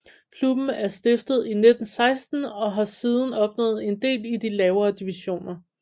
Klubben er stiftet i 1916 og har siden opnået en del i de lavere divisioner